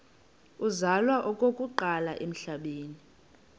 uzalwa okokuqala emhlabeni